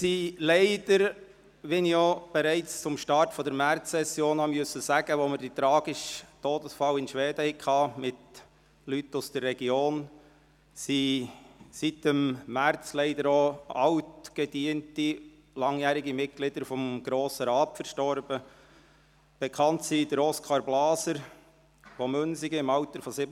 Wie bereits beim Start der Märzsession muss ich – wie anlässlich des tragischen Todesfalls in Schweden von Leuten aus der Region – sagen, dass seit März leider altgediente, langjährige Mitglieder des Grossen Rates verstorben sind, darunter bekanntlich Oskar Blaser aus Münsingen, im Altern von 87 Jahren.